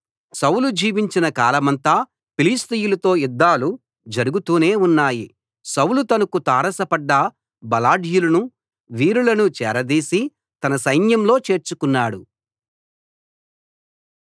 సౌలు జీవించిన కాలమంతా ఫిలిష్తీయులతో యుద్ధాలు జరుగుతూనే ఉన్నాయి సౌలు తనకు తారసపడ్డ బలాఢ్యులను వీరులను చేరదీసి తన సైన్యంలో చేర్చుకున్నాడు